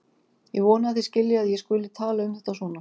Ég vona að þið skiljið að ég skuli tala um þetta svona.